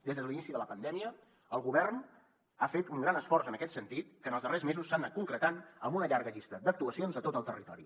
des de l’inici de la pandèmia el govern ha fet un gran esforç en aquest sentit que en els darrers mesos s’ha anat concretant amb una llarga llista d’actuacions a tot el territori